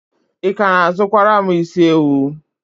Ị ka na-azụkwara m isi ewu?